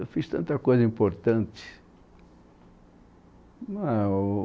Eu fiz tanta coisa importante.